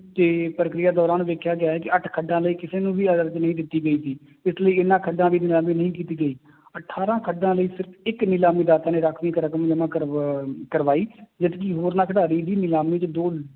ਤੇ ਪ੍ਰਕਿਰਿਆ ਦੌਰਾਨ ਦੇਖਿਆ ਗਿਆ ਹੈ ਕਿ ਅੱਠ ਖੱਡਾਂ ਲਈ ਕਿਸੇ ਨੂੰ ਵੀ ਨਹੀਂ ਦਿੱਤੀ ਗਈ ਸੀ, ਇਸ ਲਈ ਇਹਨਾਂ ਖੱਡਾਂ ਦੀ ਨਿਲਾਮੀ ਨਹੀਂ ਕੀਤੀ ਗਈ ਅਠਾਰਾਂ ਖੱਡਾਂ ਲਈ ਸਿਰਫ਼ ਇੱਕ ਨਿਲਾਮੀ ਰਾਖਵੀਂ ਇੱਕ ਰਕਮ ਜਮਾ ਕਰਵਾ ਕਰਵਾਈ ਜਦਕਿ ਹੋਰਨਾਂ ਖਿਡਾਰੀ ਵੀ ਨਿਲਾਮੀ ਚ ਦੋ